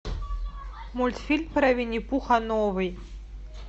мультфильм про винни пуха новый